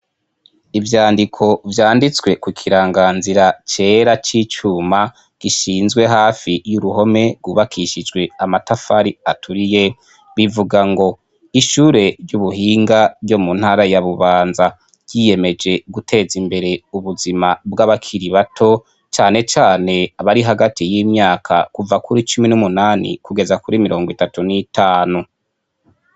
Ivyandiko vyanditswe ku kiranganzira cera c'icuma gishinzwe hafi y'uruhome gubakishijwe amatafari aturiye, bivuga ngo ishure ry'ubuhinga ryo mu ntara ya Bubanza ryiyemeje guteza imbere ubuzima bw'abakiri bato cane cane bari hagati y'imyaka kuva kuri cumi n'umunani kugeza kuri mirongo itatu n'itanu.